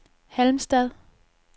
Halmstad